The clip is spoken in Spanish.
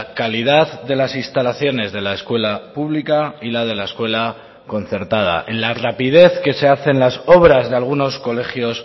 calidad de las instalaciones de la escuela pública y la de la escuela concertada en la rapidez que se hacen las obras de algunos colegios